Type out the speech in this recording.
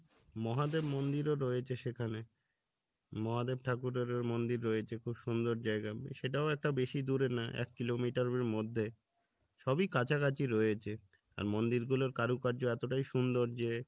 মহাদেব মন্দিরও রয়েছে সেখানে মহাদেব ঠাকুরেরও মন্দির রয়েছে খুব সুন্দর জায়গা সেটাও একটা বেশি দূরে না এক কিলোমিটার এর মধ্যে সবই কাছাকাছি রয়েছে আর মন্দির গুলোর কারুকার্য এতোটাই সুন্দর যে